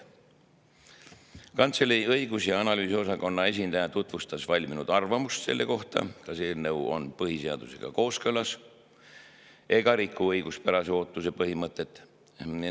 Kantselei õigus‑ ja analüüsiosakonna esindaja tutvustas valminud arvamust selle kohta, kas eelnõu on põhiseadusega kooskõlas ega riku õiguspärase ootuse põhimõtet.